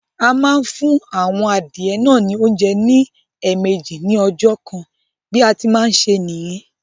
A máa ń fún àwọn adìyẹ náà ní oúnjẹ ní ẹ̀ẹ̀mejì ní ọjọ́ kan bí a ṣe ń ṣe nìyẹn